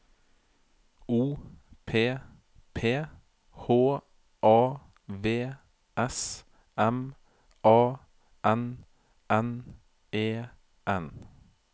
O P P H A V S M A N N E N